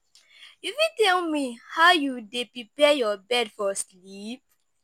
you fit tell me how you dey prepare your bed for sleep?